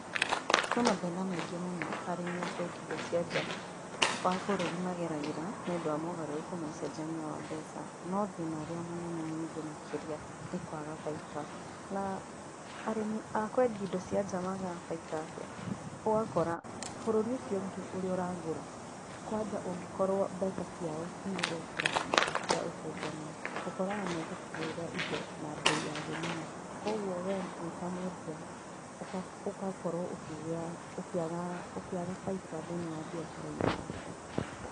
Kwĩ mathĩna maingĩ mũno arĩmi a kwendia indo cia nja wa bũrũri mageragĩra, nĩũndũ wa mogarũrũku ma ũcenjania wa mbeca, no thĩna ũrĩa mũnene mũingĩ makĩria, nĩkwaga baita na arĩmi a kwendia indo cia nja magaga baita atĩa? Ũgakora, bũrũri ũcio ũngĩ ũrĩa ũragũra, kwanja ũngĩkorwo mbeca ciao ciĩ igũrũ gũkĩra citũ cia ũcenjania, ũkoraga megũkũgũrĩra indo na mbei ya thĩ mũno, kwa ũguo we wĩtamwendia, ũgakorwo ũkĩgĩa, ũkĩaga baita thĩinĩ wa mbiacara-inĩ ciaku.